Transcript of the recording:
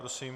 Prosím.